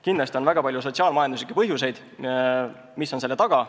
Kindlasti on väga palju sotsiaal-majanduslikke põhjuseid, mis on selle taga.